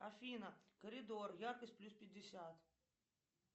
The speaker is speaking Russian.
афина коридор яркость плюс пятьдесят